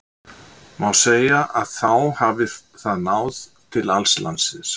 Má segja að þá hafi það náð til alls landsins.